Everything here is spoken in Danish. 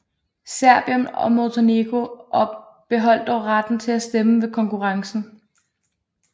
Serbien og Montenegro beholdt dog retten til at stemme ved konkurrencen